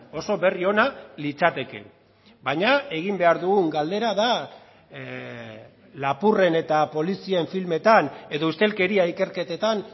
oso berri ona litzateke baina egin behar dugun galdera da lapurren eta polizien filmetan edo ustelkeria ikerketetan